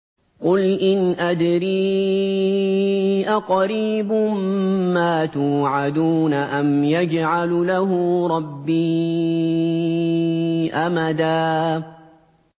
قُلْ إِنْ أَدْرِي أَقَرِيبٌ مَّا تُوعَدُونَ أَمْ يَجْعَلُ لَهُ رَبِّي أَمَدًا